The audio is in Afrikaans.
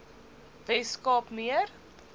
wes kaap meer